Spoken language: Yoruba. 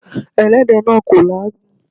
Ẹlẹ́dẹ̀ náà kò làágùn.